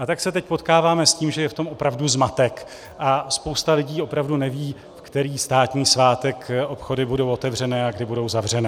A tak se teď potkáváme s tím, že je v tom opravdu zmatek a spousta lidí opravdu neví, ve který státní svátek obchody budou otevřené a kdy budou zavřené.